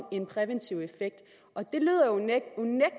en præventiv effekt